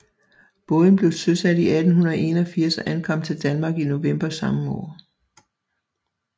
Båden blev søsat i 1881 og ankom til Danmark i november samme år